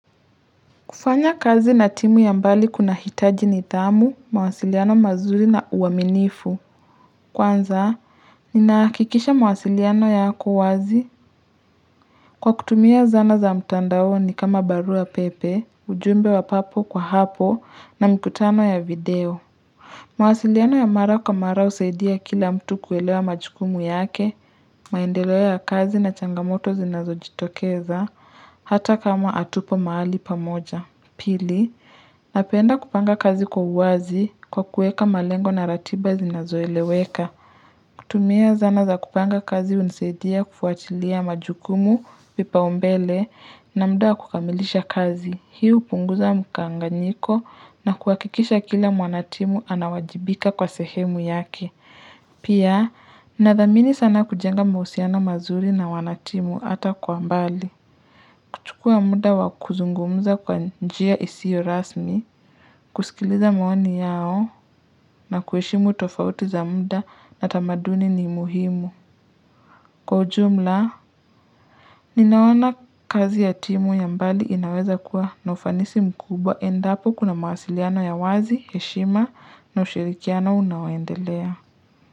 Kufanya kazi na timu ya mbali kunahitaji nidhamu, mawasiliano mazuri na uaminifu. Kwanza, ninahakikisha mawasiliano yako wazi. Kwa kutumia zana za mtandaoni kama barua pepe, ujumbe wa papo kwa hapo na mkutano wa video. Mawasiliano ya mara kwa mara husaidia kila mtu kuelewa majukumu yake, maendeleo ya kazi na changamoto zinazojitokeza hata kama hatupo mahali pamoja. Pili, napenda kupanga kazi kwa uwazi, kwa kuweka malengo na ratiba zinazoeleweka. Kutumia zana za kupanga kazi hunisaidia kufuatilia majukumu vipaumbele na muda kukamilisha kazi. Hii hupunguza mkanganyiko na kuhakikisha kila mwanatimu anawajibika kwa sehemu yake. Pia, nathamini sana kujenga mahusiano mazuri na wanatimu hata kwa mbali. Chukua muda wa kuzungumza kwa njia isiyo rasmi kusikiliza maoni yao na kuheshimu tofauti za muda na tamaduni ni muhimu. Kwa ujumla, ninaona kazi ya timu ya mbali inaweza kuwa na ufanisi mkubwa endapo kuna mawasiliano ya wazi, heshima na ushirikiano unaoendelea.